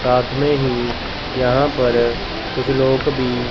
साथ में ही यहां पर कुछ लोग भी--